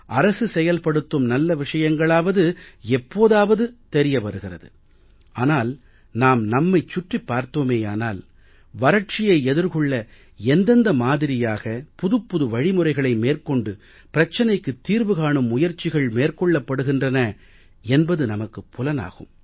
அரசு செயல்படுத்தும் நல்ல விஷயங்களாவது எப்போதாவது தெரிய வருகிறது ஆனால் நாம் நம்மைச் சுற்றிப் பார்த்தோமேயானால் வறட்சியை எதிர்கொள்ள எந்தெந்த மாதிரியாக புதுப்புது வழிமுறைகளை மேற்கொண்டு பிரச்சனைக்குத் தீர்வு காணும் முயற்சிகள் மேற்கொள்ளப்படுகின்றன என்பது நமக்குப் புலனாகும்